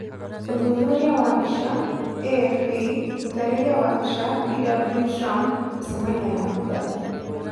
ũthuthuria wa mbica, AFP, ũtarĩria wa mbica, Bw Trump gũcemania na Bw.